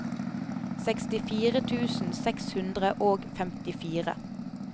sekstifire tusen seks hundre og femtifire